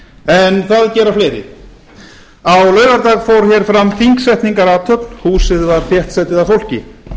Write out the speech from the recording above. en það gera fleiri á laugardag fór fram þingsetningarathöfn húsið var þéttsetið af fólki